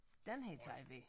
Den her tager vi